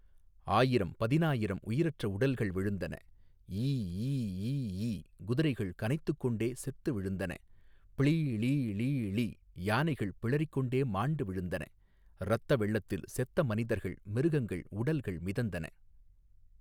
ஆயிரம் பதினாயிரம் உயிரற்ற உடல்கள் விழுந்தன ஈ ஈ ஈ ஈ குதிரைகள் கனைத்துக் கொண்டே செத்து விழுந்தன ப்ளீ ளீ ளீ ளீ யானைகள் பிளறி கொண்டே மாண்டு விழுந்தன இரத்த வெள்ளத்தில் செத்த மனிதர்கள் மிருகங்கள் உடல்கள் மிதந்தன.